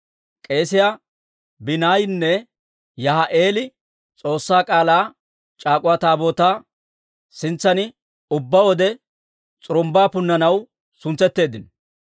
K'eesiyaa Banaayinne Yahaa'i'eeli S'oossaa K'aalaa c'aak'uwa Taabootaa sintsan ubbaa wode s'urumbbaa punnanaw suntsetteeddino.